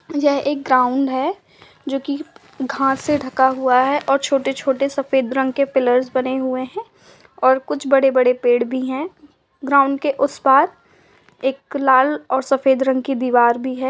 यह एक ग्राउंड है जोकि घास से ढाका हुआ है और छोटे-छोटे सफ़ेद रंग के पिलर्स बने हुए हैं और कुछ बड़े बड़े पेड़ भी हैं ग्राउंड के उस पार एक लाल और सफ़ेद रंग की दीवार भी है।